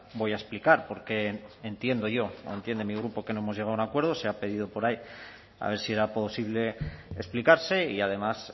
voy a explicar por qué entiendo yo o entiende mi grupo que no hemos llegado a un acuerdo se ha pedido por ahí a ver si era posible explicarse y además